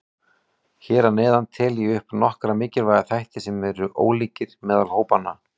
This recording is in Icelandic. Hér að neðan tel ég upp nokkra mikilvæga þætti sem eru ólíkir meðal hópanna.